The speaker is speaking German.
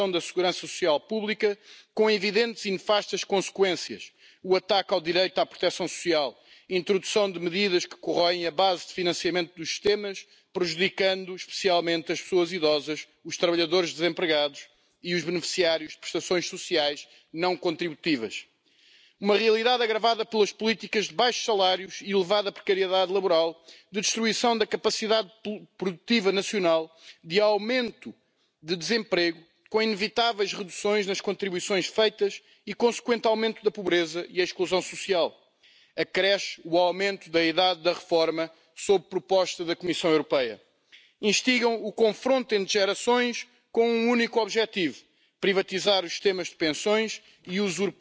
Die Aufgabe bleibt zuallererst eine Aufgabe der Mitgliedstaaten. Wir als Europäische Kommission wollen mit unserem Vorschlag ein ergänzendes freiwilliges Angebot kein ersetzendes machen. Wir glauben, dass die staatliche, die gesetzliche Rente auch in Zukunft die Hauptsäule der Alterssicherung bleiben muss. Und wir glauben, dass ergänzend auch private Absicherung durch den Bürger und durch wirtschaftlich seriöse Angebote eine sinnvolle ergänzende Rolle einnehmen kann. Zusatzversorgungssysteme und der Mehrwert, die auch europäisch zu organisieren, sind der Hintergrund für den Vorschlag der Kommission, den mein Kollege Dombrovskis federführend erarbeitet hat. Bitte nehmen